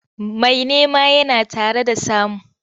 Mai nema yana tare da samu.